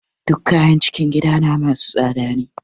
Duk kayan cikin gidana masu tsada ne.